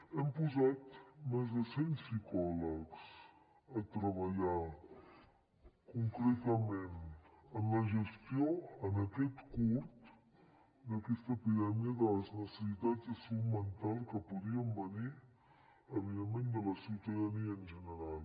hem posat més de cent psicòlegs a treballar concretament en la gestió en aquest curt d’aquesta epidèmia de les necessitats de salut mental que podien venir evidentment de la ciutadania en general